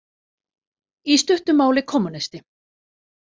Í stuttu máli kommúnisti.